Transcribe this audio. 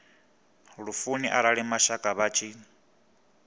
lufuni arali mashaka vha tshi